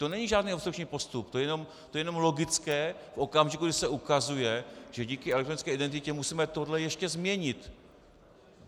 To není žádný obstrukční postup, to je jenom logické v okamžiku, kdy se ukazuje, že díky elektronické identitě musíme tohle ještě změnit.